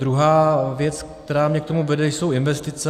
Druhá věc, která mě k tomu vede, jsou investice.